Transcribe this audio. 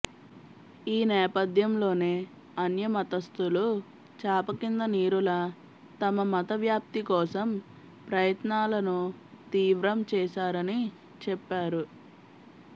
ఈ నేపధ్యంలోనే అన్య మతస్థులు చాపకిందనీరులా తమ మత వ్యాప్తి కోసం ప్రయత్నాలను తీవ్రం చేశారని చెప్పారు